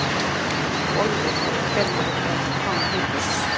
Bollu eða Bellu eða hvað hún heitir.